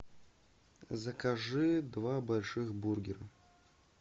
закажи два больших бургера